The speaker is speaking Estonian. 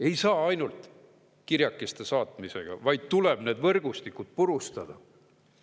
Ei piisa ainult kirjakeste saatmisest, vaid tuleb need võrgustikud purustada.